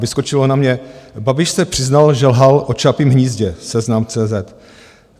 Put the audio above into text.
Vyskočilo na mě: Babiš se přiznal, že lhal o Čapím hnízdě - seznam.cz